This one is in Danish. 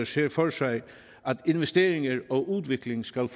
ser for sig at investeringer og udvikling skal